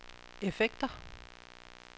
effekter